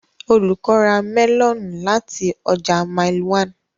Olùkọ́ ra melons láti ọjà Mile 1.